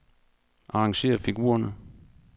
Arrangér figurerne.